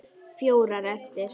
Fjórar eftir.